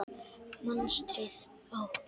Mastrið á